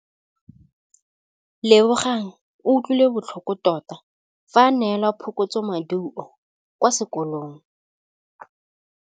Lebogang o utlwile botlhoko tota fa a neelwa phokotsômaduô kwa sekolong.